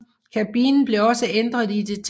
Kabinen blev også ændret i detaljer